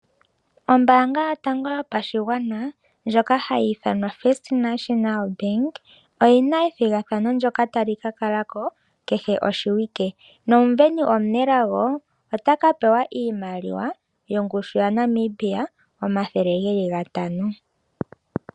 Ombaanga yotango yopashigwana ndjoka ha yi ithanwa First National Bank, oyi na ethigathano ndoka ta li ka kala ko kehe oshiwike. Nomusindani omunelago ota ka pewa iimaliwa yongushu ya Namibia omathele geli ga tano.